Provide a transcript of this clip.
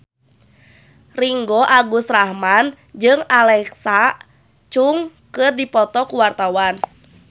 Ringgo Agus Rahman jeung Alexa Chung keur dipoto ku wartawan